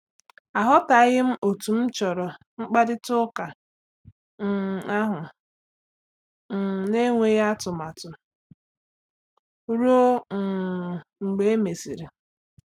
Aghọtaghị m otú m chọrọ mkparịta ụka um ahụ um na-enweghị atụmatụ ruo um mgbe e mesịrị.